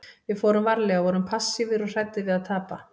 Við fórum varlega, vorum passífir og hræddir við að tapa.